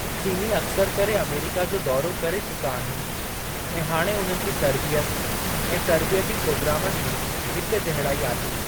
चीनी अक्सर करे अमेरीका जो दौरो करे चुका आहिनि ऐं हाणे उन्हनि जे तरबियत ऐं तर्बीयती प्रोग्रामनि जी हिकजहिड़ाई आहे।